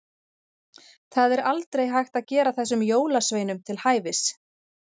Það er aldrei hægt að gera þessum jólasveinum til hæfis.